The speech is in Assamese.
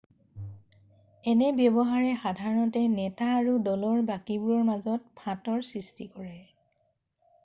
এনে ব্যৱহাৰে সাধাৰণতে নেতা আৰু দলৰ বাকীবোৰৰ মাজত ফাঁটৰ সৃষ্টি কৰে